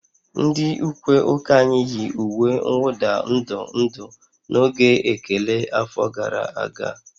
Ndị ukwe ụka anyị yi uwe mwụda ndụ ndụ n'oge ekele afọ gara aga